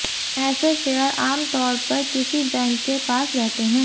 ऐसे शेयर आम तौर पर किसी बैंक के पास रहते है